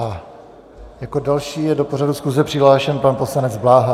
A jako další je do pořadu schůze přihlášen pan poslanec Bláha.